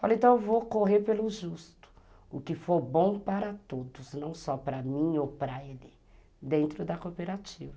Falei, então eu vou correr pelo justo, o que for bom para todos, não só para mim ou para ele, dentro da cooperativa.